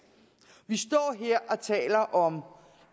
vi står her og taler om